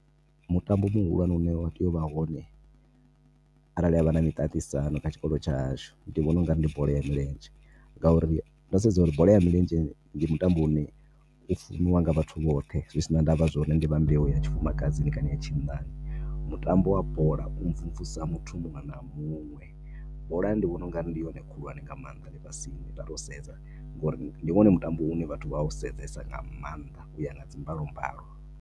Mutambo muhulwane u ne wa tea u vha hone arali ha vha na miṱaṱisano kha tshikolo tsha hashu, ndi vhona u nga ri ndi bola ya milenzhe. Ngauri ndo sedza uri bola ya milenzheni ndi mitambo i ne i funiwa nga vhathu vhoṱhe. Zwi si na ndavha zwa uri ndi vha mbeu ya tshifumakadzini kana ya tshinnani. Mutambo wa bola u mvumvusa muthu muṅwe na muṅwe. Bola ndi vhona u nga ndi yone khulwane nga maanḓa ḽifhasini nda tou sedza. Ngori ndi wone mutambo u ne vhathu vha a u sedzesa nga maanḓa u ya nga dzi mbalombalo.